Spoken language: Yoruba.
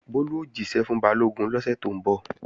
Bólú ó jíṣẹ́ fún Balógun lọ́sẹ̀ tó ń bọ̀